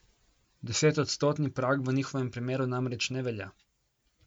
Desetodstotni prag v njihovem primeru namreč ne velja.